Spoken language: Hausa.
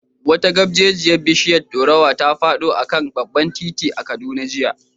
Wata gabjejiyar bishiyar dorowa ta fado a kan babban titi a Kaduna jiya.